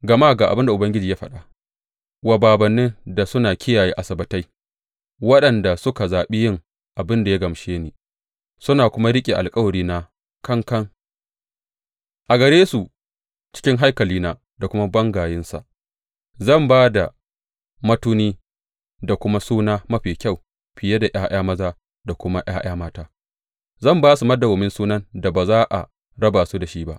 Gama ga abin da Ubangiji ya faɗa, Wa bābānnin da suna kiyaye Asabbatai, waɗanda suka zaɓi yin abin da ya gamshe ni suna kuma riƙe da alkawarina kankan, a gare su cikin haikalina da kuma bangayensa zan ba da matuni da kuma suna mafi kyau fiye da ’ya’ya maza da kuma ’ya’ya mata; zan ba su madawwamin sunan da ba za a raba su da shi ba.